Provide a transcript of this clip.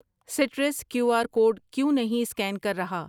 سٹرس Q R code کیوں نہیں scan کر رہا ؟